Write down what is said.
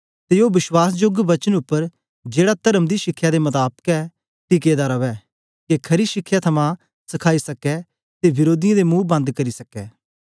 ते ओ वश्वासजोग वचन उपर जेड़ा तर्म दी शिखया दे मताबक ऐ टिके दा रवै के खरी शिखया थमां सखाई सकै ते विरोधीयें दे मुंह बन्द करी सकै